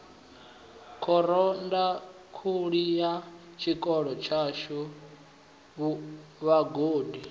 khorondanguli ya tshikolo tshashu vhagudi